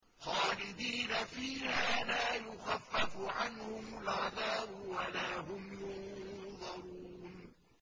خَالِدِينَ فِيهَا لَا يُخَفَّفُ عَنْهُمُ الْعَذَابُ وَلَا هُمْ يُنظَرُونَ